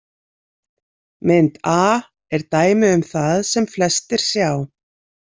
Mynd A er dæmi um það sem flestir sjá.